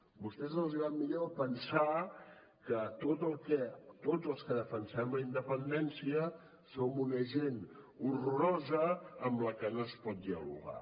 a vostès els va millor pensar que tot els que defensem la independència som una gent horrorosa amb la qual no es pot dialogar